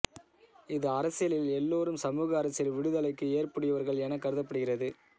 இது அரசியலில் எல்லோரும் சமூக அரசியல் விடுதலைக்கு ஏற்புடையவர்கள் என கருதப்படுகிறது